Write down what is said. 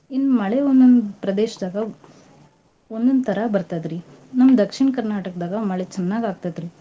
ಇನ್ ಮಳೆ ಒಂದೊಂದ್ ಪ್ರದೇಶ್ದಾಗ ಒಂದೊಂದ್ ತರಾ ಬರ್ತದ್ರಿ. ನಮ್ Dakshin Karnataka ದಾಗ ಮಳೆ ಚನ್ನಾಗ್ ಆಗ್ತಾತ್ರಿ.